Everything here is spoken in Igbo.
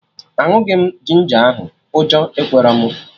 Aṅụghị m ginger ahụ, ụjọ ekwerọ mụ